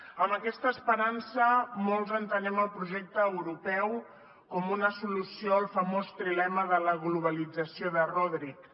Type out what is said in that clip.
amb aquesta esperança molts entenem el projecte europeu com una solució al famós trilema de la globalització de rodrik